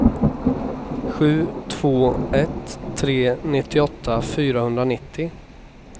sju två ett tre nittioåtta fyrahundranittio